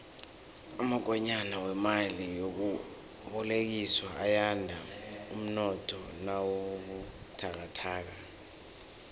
amakonyana wemali yokubolekiswa ayanda umnotho nawubuthakathaka